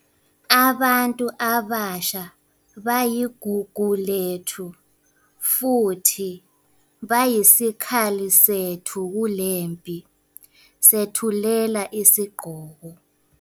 Abantu abasha bayigugu lethu, futhi bayisikhali sethu kulempi. Sethulela isigqoko.